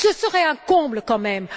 Ce serait un comble quand même.